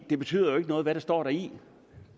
det betyder jo ikke noget hvad der står deri